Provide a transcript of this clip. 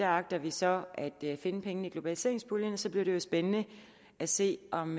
agter vi så at finde pengene i globaliseringspuljen og så bliver det jo spændende at se om